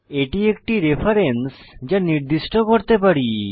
এটি একটি রেফারেন্স যা নির্দিষ্ট করতে পারি